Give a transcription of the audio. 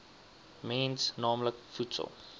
mens naamlik voedsel